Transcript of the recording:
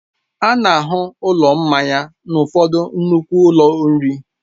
A na-ahụ ụlọ mmanya n'ụfọdụ nnukwu ụlọ nri.